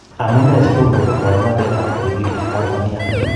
Amunee sitomkobek muratanet ab tibiik en Tanzania?